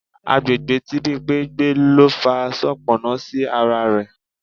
Àgbègbè tí Bimpe ń gbé ló fa soponna sí ara rẹ̀.